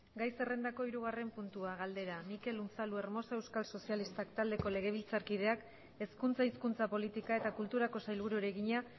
gai zerrendako hirugarren puntua galdera mikel unzalu hermoso euskal sozialistak taldeko legebiltzarkideak hezkuntza hizkuntza politika eta kulturako sailburuari egina